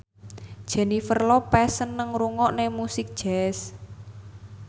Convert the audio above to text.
Jennifer Lopez seneng ngrungokne musik jazz